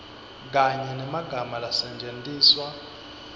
kanye nemagama lasetjentiswa